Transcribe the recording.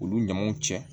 Olu ɲamaw cɛ